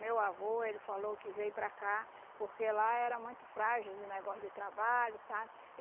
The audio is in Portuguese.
Meu avô, ele falou que veio para cá porque lá era muito frágil de negócio de trabalho, sabe?